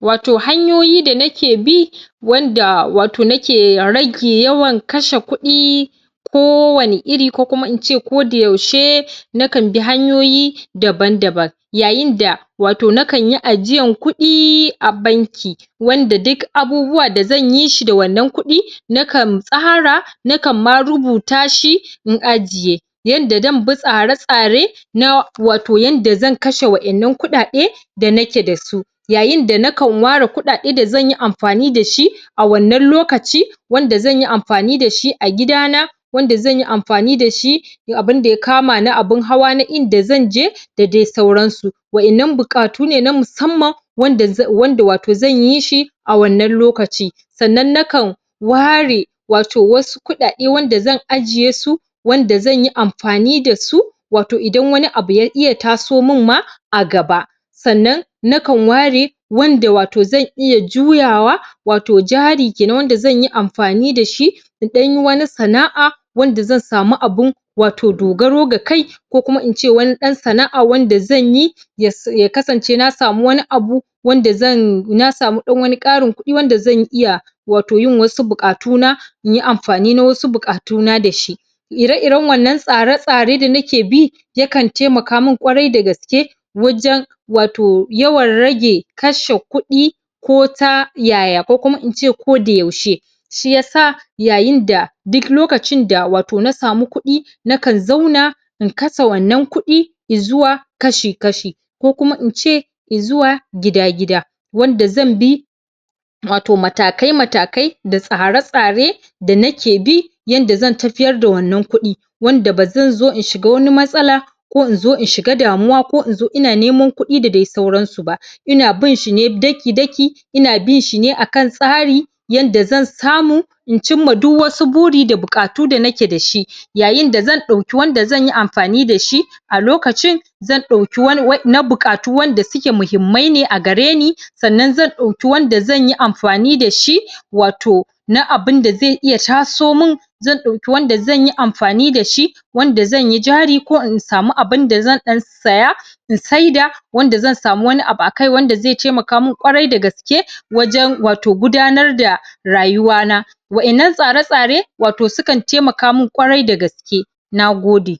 wato hanyoyi da nake bi wanda wato nake ke rage yawan kashe kuɗi ko wani iri ko kuma in ce kodayaushe na kan bi hanyoyi daban-daban yayin da wato nakan yi ajiyan kuɗi a banki wanda duk abubuwa da zanyi shi da wannan kuɗi na kan tsara na kan ma rubuta shi in ajiye yanda zan bi tsare-tsare na wato yanda zan kashe waɗannan kuɗaɗe da na ke da su yayin da na kan ware kuɗaɗden da zan yi am fani da shi a wannan lokaci wanda zan yi am fani da shi a gida na wanda zan yi amfani da shi da abinda ya kama na abin hawa na inda zan je da dai sauran su waƴannan buƙatu ne na musamman wanda wato zan yi shi a wannan lokaci sannan na kan ware wato wasu kuɗaɗe wanda zan ajiye su wanda zan yi am fani da su wato idan wani abu ya iya taso min ma a gaba sannan na kan ware wanda wato zan iya juyawa wato jari kenan wanda zan yi amfani da shi in ɗan yi wani sana'a wanda zan samu abun wato dogaro ga kai ko kuma in ce wani ɗan sana'a wanda zan yi ya kasance na samu wani abu wanda zan, na samu ɗan wani ƙarin kuɗi wanda zan iya wato yin wasu buƙatu na in yi amfani na wasu buƙatu na da shi ire-iren wannan tsare-tsare da nake bi ya kan taimaka min ƙwarai da gaske wajen wato yawan rage kashe kuɗi ko ta yaya, ko kuma in ce kodayaushe shi yasa yayin da duk lokacin da wato na samu kuɗi na kan zauna in kasa wannan kuɗi i zuwa kashi-kashi ko kuma in ce i zuwa gida-gida wanda zan bi wato matakai-matakai da tsare-tsare da nake bi yanda zan tafiyar da wannan kuɗi wanda ba zan zo in shiga wani matsala ko in zo in shiga damuwa, ko in zo ina neman kuɗi da dai sauran su ba ina bin shi ne daki-daki ina bin shi ne akan tsari yanda zan samu in cin ma duk wasu buri da buƙatu da nake da shi yayin da zan ɗauki wanda zan yi amfani da shi a lokacin zan ɗauki wani na buƙatuwan da suke muhimmai ne a gare ni sannan zan ɗauki wanda zan yi amfani da shi wato na abin da zai iya taso min zan ɗauki wanda zan yi amfai da shi wanda zan yi jari, ko in samu abun da zan ɗan saya in saida wanda zan samu wani abu a kai wanda zai taimaka min ƙwarai da gaske ke wajen wato gudanar da rayuwa na waƴannan tsare-tsare wato sukan taimaka min ƙwarai da gaske na gode.